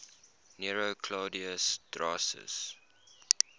nero claudius drusus